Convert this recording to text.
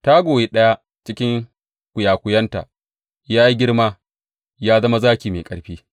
Ta goyi ɗaya daga cikin kwiyakwiyanta, ya yi girma ya zama zaki mai ƙarfi.